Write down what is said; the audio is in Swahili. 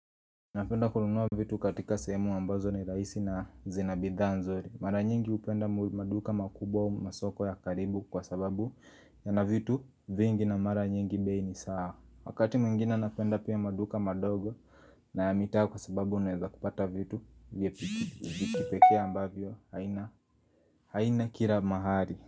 Napenda kununua vitu katika sehemu ambazo ni rahisi na zina bidhaa nzuri Mara nyingi upenda maduka makubwa masoko ya karibu kwa sababu yana vitu vingi na mara nyingi bei ni sawa Wakati mwingine napenda pia maduka madogo na ya mita kwa sababu unaweza kupata vitu Vyapikipekea ambavyo haina haina kila mahali.